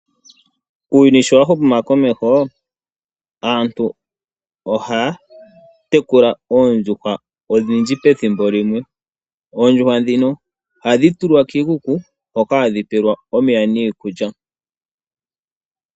Uuyuni owa huma komeho, aantu ohaya tekula oondjuhwa odhindji pethimbo limwe. Oondjuhwa ohadhi tulwa kiikiku hoka hadhi pelwa omeya niikulya.